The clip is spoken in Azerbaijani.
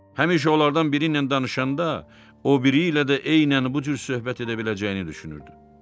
Həmişə onlardan biri ilə danışanda o biri ilə də eynən bu cür söhbət edə biləcəyini düşünürdü.